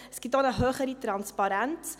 es gibt auch eine höhere Transparenz.